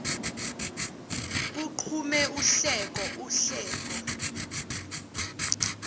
kuqhume uhleko uhleko